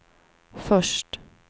först